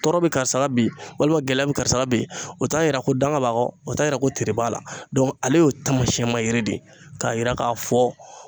Tɔɔrɔ be karisa la bi walima gɛlɛya be karisa la bi, o t'a yira ko danga b'a kɔ, o t'a yira ko tere b'a la. ale y'o taamasiyɛnma yiri de k'a yira k'a fɔ